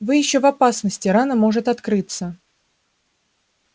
вы ещё в опасности рана может открыться